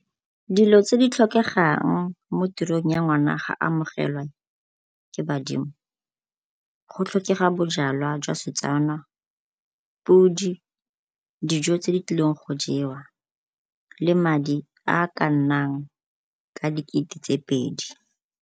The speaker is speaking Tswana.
Dilo tse di tlhokegang mo tirong ya ngwana ga amogelwa ke badimo, go tlhokega bojalwa jwa Setswana, podi, dijo tse di tlileng go jewa, le madi a ka nnang ka dikete tse pedi.